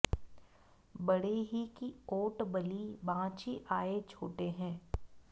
बड़े ही की ओट बलि बाँचि आये छोटे हैं